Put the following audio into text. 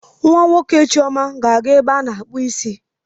Nwa nwoke nke Chioma ga-aga ebe a na-akpụ isi.